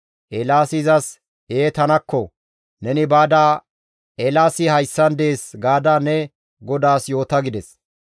Eelaasi izas, «Ee tanakko! Neni baada, ‹Eelaasi hayssan dees› gaada ne godaas yoota» gides.